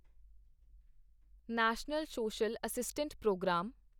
national social assistance programme